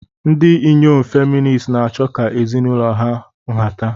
Ndị inyom feministi na-achọ ka ezinụlọ ha nhata.